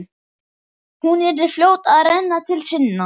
Hún yrði fljót að renna til sinna.